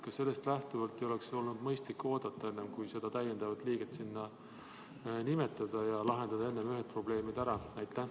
Kas sellest lähtuvalt ei oleks olnud mõistlik oodata, enne kui hakata uut liiget sinna nimetama, ja lahendada kõigepealt ära varasemad probleemid?